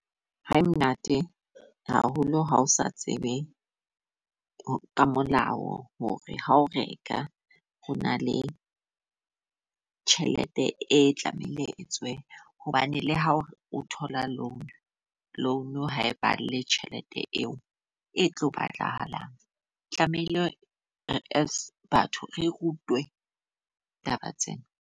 Ha e monate haholo, ha o sa tsebe ka molao hore ha o reka ho na le tjhelete e tlamehile e tswe. Hobane le ha o o thola loan, loan ha e patale tjhelete eo e tlo batlahalang tlamehile as batho re rutwe taba tsena.